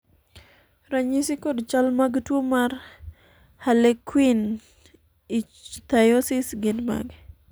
ranyisi kod chal mag tuo mar harlekuin ichthyosis gin mage?